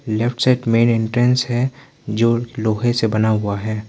Left side मैं entrance है जो लोहे से बना हुआ है।